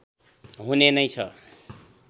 हुने नै छ